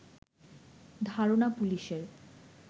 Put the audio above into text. ধারণা পুলিশের